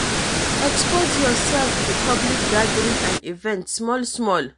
Expose your self to public gathering and events small small